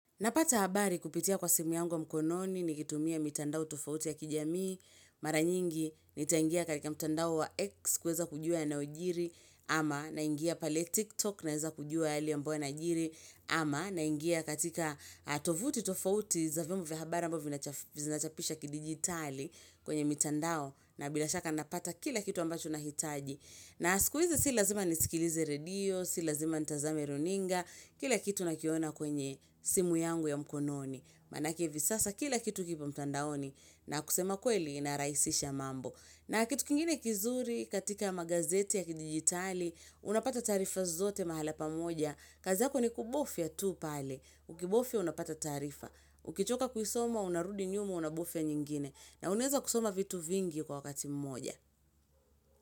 Napata habari kupitia kwa simu yangu ya mkononi nikitumia mitandao tofauti ya kijamii, mara nyingi, nitangia katika mtandao wa X kuweza kujua yanayojiri, ama naingia pale TikTok naweza kujua yale ambayo yanajiri, ama naingia katika tovuti tofauti za vyombo vya habari ambavyo vinachapisha kidigitali kwenye mitandao na bila shaka napata kila kitu ambacho nahitaji. Na siku hizi si lazima nisikilize redio, si lazima nitazame runinga, kila kitu nakiona kwenye simu yangu ya mkononi. Manake hivi sasa kila kitu kipo mtandaoni na kusema ukweli inarahisisha mambo. Na kitu kingine kizuri katika magazeti ya kidigitali, unapata taarifa zote mahala pamoja. Kazi yako ni kubofya tu pale, ukibofya unapata taarifa. Ukichoka kuisoma, unarudi nyuma, unabofya nyingine. Na unaweza kusoma vitu vingi kwa wakati mmoja.